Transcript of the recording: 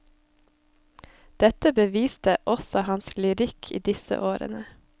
Dette beviste også hans lyrikk i disse årene.